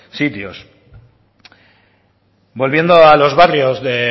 sitios volviendo a los barrios de